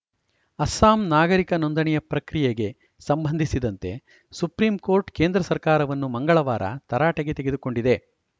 ಅಸ್ಸಾಂ ನಾಗರಿಕ ನೋಂದಣಿಯ ಪ್ರಕ್ರಿಯೆಗೆ ಸಂಬಂಧಿಸಿದಂತೆ ಸುಪ್ರೀಂಕೋರ್ಟ್‌ ಕೇಂದ್ರ ಸರ್ಕಾರವನ್ನು ಮಂಗಳವಾರ ತರಾಟೆಗೆ ತೆಗೆದುಕೊಂಡಿದೆ